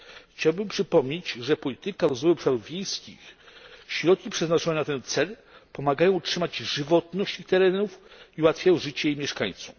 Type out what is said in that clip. Chciałbym przypomnieć, że polityka rozwoju obszarów wiejskich, środki przeznaczone na ten cel pomagają utrzymać żywotność tych terenów i ułatwiają życie ich mieszkańcom.